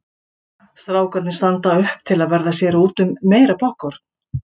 Strákarnir standa upp til að verða sér úti um meira poppkorn.